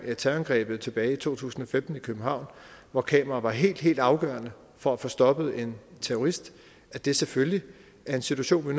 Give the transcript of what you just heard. med terrorangrebet tilbage i to tusind og femten i københavn hvor kameraer var helt helt afgørende for at få stoppet en terrorist at det selvfølgelig er en situation vi